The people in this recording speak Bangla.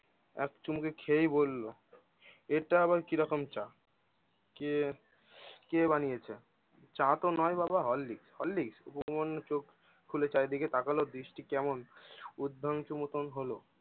এক চুমুকে খেয়েই বললো এইটা আবার কি রকম চা? কে কে বানিয়েছে? চা তো নয় বাবা Horlicks উপমান্য চোখ খুলে চারিদিকে তাকালো, দৃষ্টি কেমন হলো